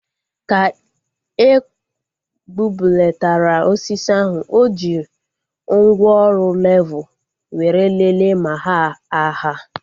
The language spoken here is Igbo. Ka ekpubelatara osisi ahu, o ji mgwooru levul were leele ma ha aha